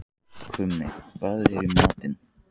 Krummi, hvað er í matinn?